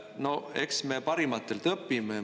No eks me parimatelt õpime.